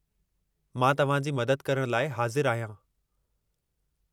मां तव्हां जी मदद करण लाइ हाज़िरु आहियां।